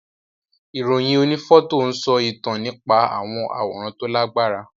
Ìròyìn onífọ́tò ń sọ ìtàn nípa àwọn àwòrán tó Lágbára